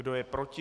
Kdo je proti?